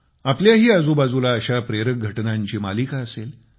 आपल्याही आजूबाजूला अशा प्रेरक घटनांची मालिका असेल